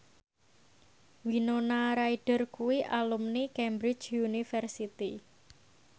Winona Ryder kuwi alumni Cambridge University